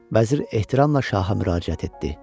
Vəzir ehtiramla şaha müraciət etdi.